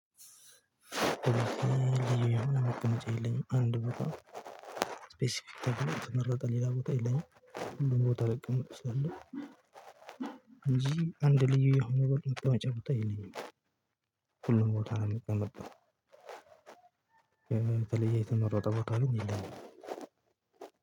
አንድ ቦታ ስፔሲፊክ ተቀምጨ ሌላ ቦታ የለኝም ሁሉም ልቀመጥ እችላለሁ እንጂ አንድ ልዩ የሆነ ቦታ መቀእጫ ቦታ የለኝም። ሁሉም ቦታ ነው የምቀመጠው። የተለየ የተመረጠ ቦታ ካልሆነ የለም።